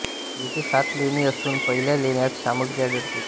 येथे सात लेणी असून पहिल्या लेण्यात सामग्री आढळते